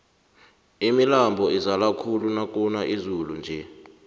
imilambo izala khulu nakuna izulu nje